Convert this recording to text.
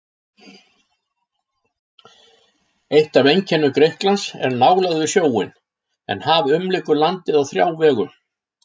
Eitt af einkennum Grikklands er nálægð við sjóinn, en haf umlykur landið á þrjá vegu.